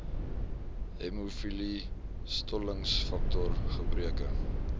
hemofilie stollingsfaktor gebreke